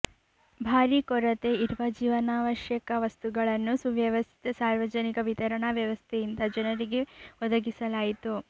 ಭಾರೀ ಕೊರತೆ ಇರುವ ಜೀವನಾವಶ್ಯಕ ವಸ್ತುಗಳನ್ನು ಸುವ್ಯವಸ್ಥಿತ ಸಾರ್ವಜನಿಕ ವಿತರಣಾ ವ್ಯವಸ್ಥೆಯಿಂದ ಜನರಿಗೆ ಒದಗಿಸ ಲಾಯಿತು